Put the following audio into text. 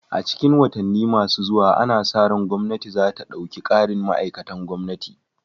A cikin watanni masu zuwa ana sa ran gwamnati za ta ɗauki ƙarin ma'aikatan gwamnati